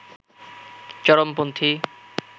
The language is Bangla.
চরমপন্থী